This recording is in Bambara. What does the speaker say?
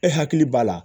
E hakili b'a la